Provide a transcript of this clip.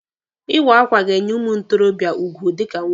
Ịwa akwa ga-enye ụmụ ntorobịa ugwu dịka nwoke.